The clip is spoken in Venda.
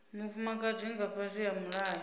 mufumakadzi nga fhasi ha mulayo